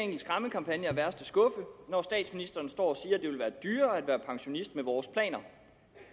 en skræmmekampagne af værste skuffe når statsministeren står og dyrere at være pensionist med vores planer